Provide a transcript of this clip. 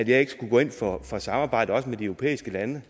jeg ikke skulle gå ind for for samarbejde også med de europæiske lande